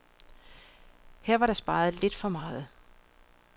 Her var der sparet lidt for meget.